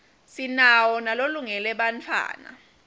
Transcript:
sinawo nalolungele bantfwatta